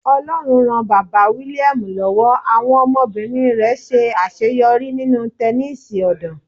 Ọlọ́run ran Bàbá William lọ́wọ́, àwọn ọmọbìnrin rẹ̀ ṣe àṣeyọrí nínú Tẹnísì ọ̀dàn.